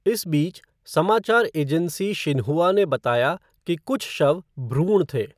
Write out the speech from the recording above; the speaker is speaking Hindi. इस बीच, समाचार एजेंसी शिन्हुआ ने बताया कि कुछ शव भ्रूण थे।